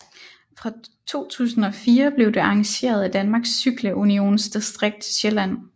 Fra 2004 blev det arrangeret af Danmarks Cykle Unions Distrikt Sjælland